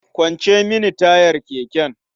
Kwance mini tayar keken.